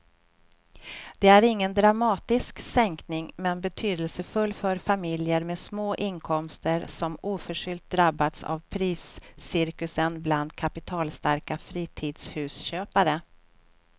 Det är ingen dramatisk sänkning men betydelsefull för familjer med små inkomster som oförskyllt drabbats av priscirkusen bland kapitalstarka fritidshusköpare.